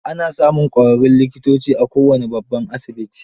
Ana samun ƙwararrun likitoci a kowane babban asibiti.